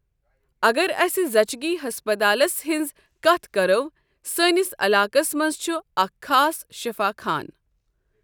اَگر اَسہِ زَچگی ہسپَتالس ہٕنٛز کَتھ کَرو سٲنِس علاقَس منٛز چھُ اکھ خاص شفا خان۔